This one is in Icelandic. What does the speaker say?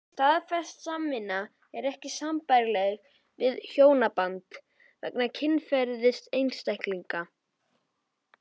Staðfest samvist er ekki sambærileg við hjónaband vegna kynferðis einstaklinganna.